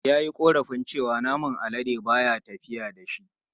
Ya yi korafin cewa naman alade ba ya tafiya da shi.